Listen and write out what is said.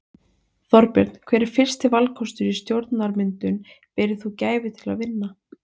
Þorbjörn: Hver er fyrsti valkostur í stjórnarmyndun berir þú gæfu til að vinna?